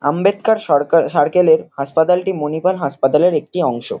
Ambedkar Sarkar circle -এর হাসপাতালটি মণিপাল হাসপাতালের একটি অংশ।